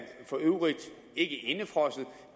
for øvrigt ikke indefrosset